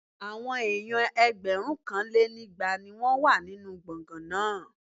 Àwọn èèyàn ẹgbẹ̀rúnkanlénígba ni wọ́n wà nínú gbọ̀ngán náà